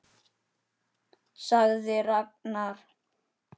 sagði Ragnar.